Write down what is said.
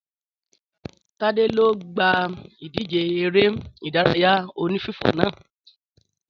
Tade lo gba idje eré ìdárayá oní fífò náà